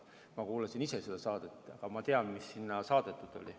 Ma kuulasin ise seda saadet, ma tean, mis sinna saadetud oli.